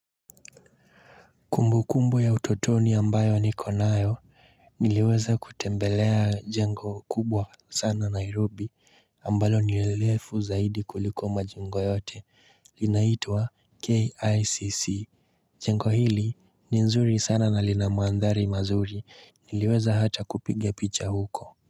Kumbu kumbu ya utotoni ambayo ni konayo niliweza kutembelea jengo kubwa sana Nairobi ambalo ni lefu zaidi kuliko mejingo yote inaitwa KICC. Jengo hili ni nzuri sana na lina mathari mazuri niliweza hata kupiga picha huko.